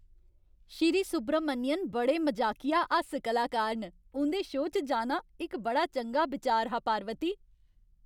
श्री सुब्रमण्यन बड़े मजाकिया हास्य कलाकार न। उं'दे शो च जाना इक बड़ा चंगा बिचार हा, पार्वती।